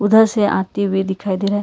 उधर से आते हुए दिखाई दे रहा--